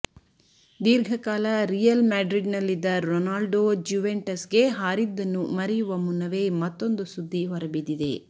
ದೀರ್ಘಕಾಲ ರಿಯಲ್ ಮ್ಯಾಡ್ರಿಡ್ನಲ್ಲಿದ್ದ ರೊನಾಲ್ಡೊ ಜ್ಯುವೆಂಟಸ್ಗೆ ಹಾರಿದ್ದನ್ನು ಮರೆಯುವ ಮುನ್ನವೇ ಮತ್ತೂಂದು ಸುದ್ದಿ ಹೊರಬಿದ್ದಿದೆ